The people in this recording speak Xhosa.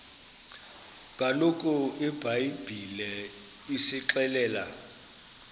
kaloku ibhayibhile isixelela